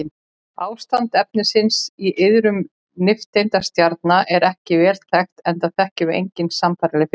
Ástand efnisins í iðrum nifteindastjarna er ekki vel þekkt enda þekkjum við engin sambærileg fyrirbæri.